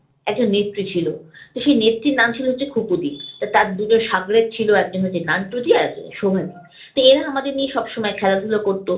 একজন নেত্রী ছিল। তো সেই নেত্রীর নাম ছিল হচ্ছে খুকুদি। তো তার দুটো শাগরেদ ছিল, একজন হচ্ছে নান্টু দি আরেকজন হচ্ছে শোভা দি। তো এরা আমদের নিয়ে সবসময় খেলাধুলা করত।